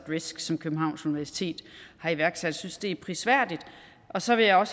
risk som københavns universitet har iværksat jeg synes det er prisværdigt og så vil jeg